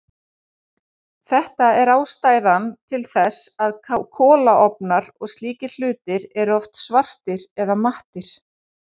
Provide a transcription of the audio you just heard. Þetta er ástæðan til þess að kolaofnar og slíkir hlutir eru oft svartir eða mattir.